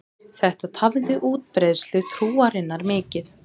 Þetta tafði útbreiðslu trúarinnar mikið.